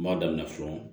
N b'a daminɛ fɔlɔ